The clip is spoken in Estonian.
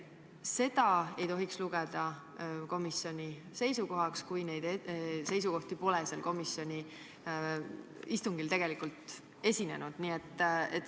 Seda ei tohiks lugeda komisjoni seisukohaks, kui neid seisukohti pole komisjoni istungil tegelikult esitatud.